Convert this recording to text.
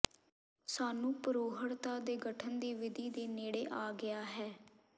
ਸਾਨੂੰ ਪ੍ਰੋੜ੍ਹਤਾ ਦੇ ਗਠਨ ਦੀ ਵਿਧੀ ਦੇ ਨੇੜੇ ਆ ਗਿਆ ਹੈ